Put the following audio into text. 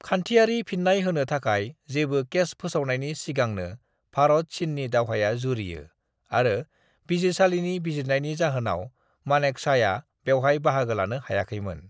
खान्थियारि फिन्नाय होनो थाखाय जेबो केस फोसावनायनि सिगांनो भारत-चीननि दावहाया जुरियो आरो बिजिरसालिनि बिजिरनायनि जाहोनाव मानेकशॉआ बेवहाय बाहागो लानो हायाखैमोन ।